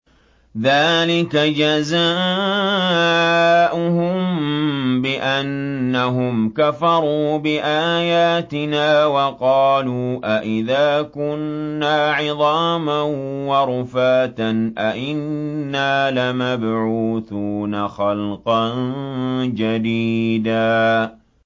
ذَٰلِكَ جَزَاؤُهُم بِأَنَّهُمْ كَفَرُوا بِآيَاتِنَا وَقَالُوا أَإِذَا كُنَّا عِظَامًا وَرُفَاتًا أَإِنَّا لَمَبْعُوثُونَ خَلْقًا جَدِيدًا